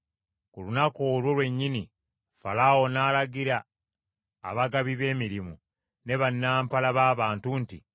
Ku lunaku olwo lwennyini Falaawo n’alagira abagabi b’emirimu ne bannampala b’abantu nti,